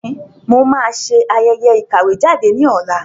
Bẹ́ẹ̀ni, mo máa ṣe ayẹyẹ ìkàwé jáde ní ọ̀la